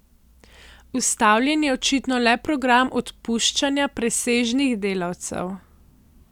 Ustavljen je očitno le program odpuščanja presežnih delavcev.